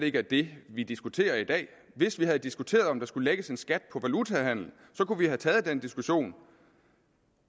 ikke er det vi diskuterer i dag hvis vi havde diskuteret om der skulle lægges en skat på valutahandel kunne vi have taget den diskussion